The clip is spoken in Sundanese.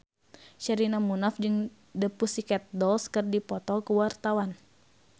Sherina Munaf jeung The Pussycat Dolls keur dipoto ku wartawan